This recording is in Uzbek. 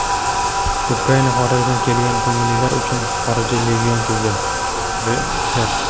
Ukraina xorijdan kelgan ko‘ngillilar uchun xorijiy legion tuzdi – Reuters.